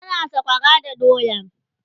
ana sakwara da doya